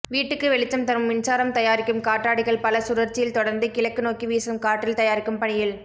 வீட்டுக்கு வெளிச்சம் தரும் மின்சாரம் தயாரிக்கும் காற்றாடிகள் பல சுழற்சியில் தொடர்ந்து கிழக்கு நோக்கி வீசும் காற்றில் தயாரிக்கும் பணியில்